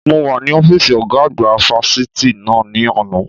Mo wà ní ọ́fíìsì ọ̀gá àgbà fáfitì náà ní àná.